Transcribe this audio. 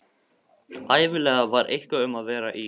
Ævinlega var eitthvað um að vera í